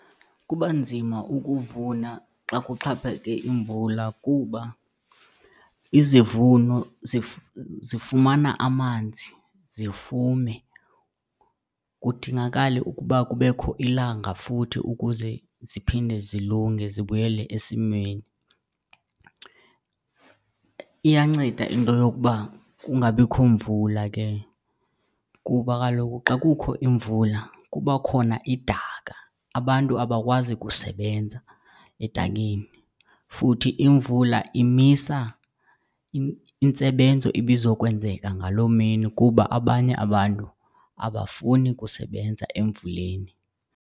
Kuba nzima ukuvuna xa kuxhaphake imvula kuba izivuno zifumana amanzi zifume, kudingakale ukuba kubekho ilanga futhi ukuze ziphinde zilunge zibuyele esimweni. Iyanceda into yokuba kungabikho mvula ke kuba kaloku xa kukho imvula kuba khona idaka, abantu abakwazi kusebenza edakeni. Futhi imvula imisa intsebenzo ibizokwenzeka ngaloo mini kuba abanye abantu abafuni kusebenza emvuleni.